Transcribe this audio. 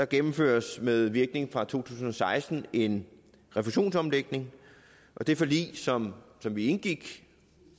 gennemføres med virkning fra to tusind og seksten en refusionsomlægning og det forlig som vi indgik